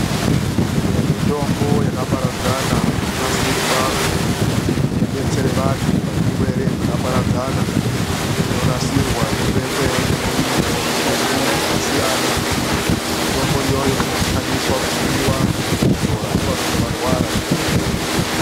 MUMITOMBO YAKAPARADZANA INONASIRWA KUTI IBETSERE ,VANHU PAZVIRwere ZVAKAPARADZANA INONASIRWA YOBEKWE MUZVITUMBU ZVAKASIYANA MITOMBO IYOYO INOZOSHANDISWA KUMWIWA KANA KUTI KUDZORA WANENGE WARWARA ZVIRWERE.